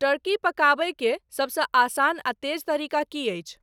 Turkey पकाबय के सब सं आसान आ तेज तरीका की अछि